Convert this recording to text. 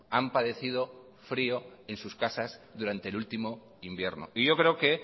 han padecido frío en sus casas durante el último invierno y yo creo que